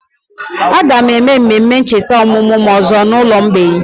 Aga m eme mmemme ncheta ọmụmụ m ọzọ n'ụlọ mgbei